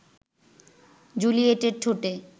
জুলিয়েটের ঠোঁটে